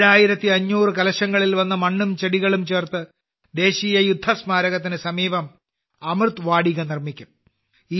7500 കലശങ്ങളിൽ വന്ന മണ്ണും ചെടികളും ചേർത്ത് ദേശീയ യുദ്ധസ്മാരകത്തിന് സമീപം അമൃത് വാടികനിർമ്മിക്കും